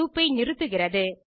loop ஐ நிறுத்துகிறது